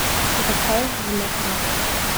Zakaj v nepravem?